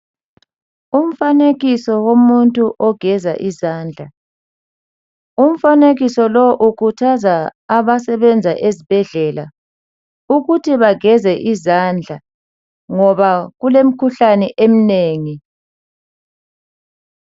Umfanekiso womuntu ogeza izandla umfanekiso lo ukhuthaza abasebenza esibhedlela ukuthi bageze izandla ngoba kulemikhuhlane eminengi.